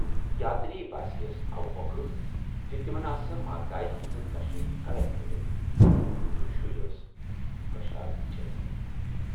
یاتری باسیے یَس اوٕمۅکھٕ زِ تِمن آسہِ ماتایہِ ہٕنزِ دشہِ کلن گٔنڈِتھ تہٕ شُرۍ ٲسۍ پرشاد ٹھیلہٕ ہٮ۪تھ۔